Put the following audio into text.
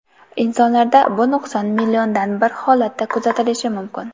Insonlarda bu nuqson milliondan bir holatda kuzatilishi mumkin.